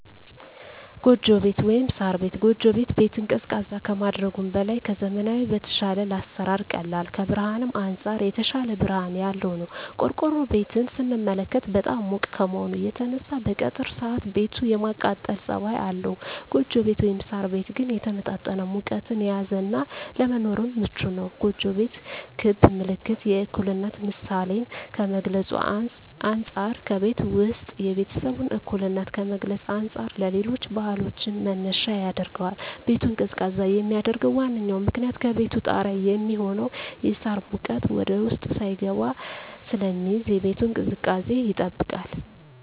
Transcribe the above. ጎጆ ቤት(ሳር ቤት)። ጎጆ ቤት ቤትን ቀዝቃዛ ከማድረጉም በላይ ከዘመናዊዉ በተሻለ ለአሰራር ቀላል ከብርሀንም አንፃር የተሻለ ብርሀን ያለዉ ነዉ። ቆርቆሮ ቤትን ስንመለከት በጣም ሙቅ ከመሆኑ የተነሳ በቀትር ሰአት ቤቱ የማቃጠል ፀባይ አለዉ ጎጆ ቤት (ሳር ቤት) ግን የተመጣጠነ ሙቀትን የያዘ እና ለመኖርም ምቹ ነዉ። ጎጆ ቤት ክብ ምልክት የእኩልነት ምሳሌን ከመግልፁ አንፃ ከቤቱ ዉስጥ የቤተሰቡን እኩልነት ከመግለፅ አንፃር ለሌሎች ባህሎችም መነሻ ያደርገዋል። ቤቱን ቀዝቃዛ የሚያደርገዉ ዋነኛዉ ምክንያት ከቤቱ ጣሪያ የሚሆነዉ የሳር ሙቀት ወደዉስጥ ሳይስገባ ስለሚይዝ የቤቱን ቅዝቃዜ ይጠብቃል።